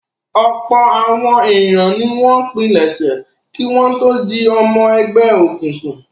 Ọ̀pọ̀ àwọn ènìyàn ni wọ́n pilẹ̀sẹ̀ kí wọ́n tó di ọmọ ẹgbẹ́ òkùnkùn.